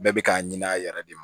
Bɛɛ bɛ k'a ɲini a yɛrɛ de ma